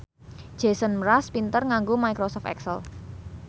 Jason Mraz pinter nganggo microsoft excel